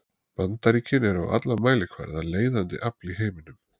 Bandaríkin eru á alla mælikvarða leiðandi afl í heiminum.